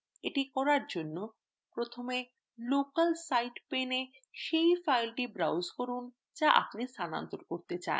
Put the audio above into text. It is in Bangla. এটি করার জন্য প্রথমে local site paneএ সেই file browse করুন to আপনি স্থানান্তর করতে pane